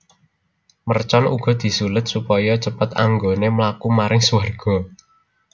Mercon uga disuled supaya cepet anggoné mlaku maring suwarga